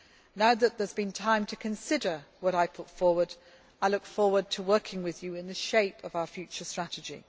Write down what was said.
Now that there has been time to consider what I put forward, I look forward to working with you on the shape of our future strategy.